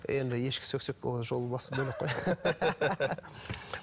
енді ешкі ол жолы бөлек қой